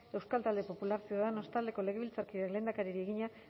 euskal talde popular ciudadanos taldeko legebiltzarkideak lehendakariari egina